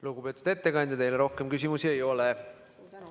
Lugupeetud ettekandja, teile rohkem küsimusi ei ole.